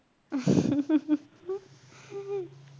अ